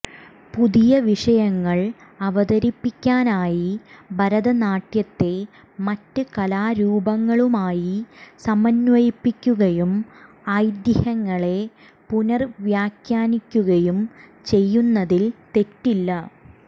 പുതിയ വിഷയങ്ങൾ അവതരിപ്പിക്കാനായി ഭരതനാട്യത്തെ മറ്റ് കലാരൂപങ്ങളുമായി സമന്വയിപ്പിക്കുകയും ഐതിഹ്യങ്ങളെ പുനർവ്യാഖ്യാനിക്കുകയും ചെയ്യുന്നതിൽ തെറ്റില്ല